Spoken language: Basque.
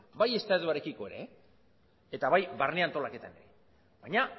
bai estatuarekiko ere eta bai barne antolaketan ere baina